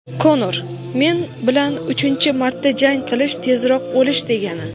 Konor: "Men bilan uchinchi marta jang qilish — tezroq o‘lish degani".